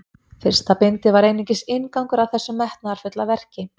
Fyrsta bindið var einungis inngangur að þessu metnaðarfulla verki.